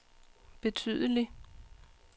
betydelig